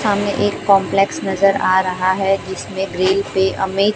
सामने एक कॉम्प्लेक्स नजर आ रहा है जिसमें ग्रील पे अमे--